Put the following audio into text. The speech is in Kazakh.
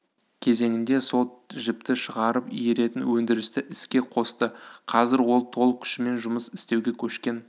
кезеңінде сол жіпті шығарып иіретін өндірісті іске қосты қазір ол толық күшімен жұмыс істеуге көшкен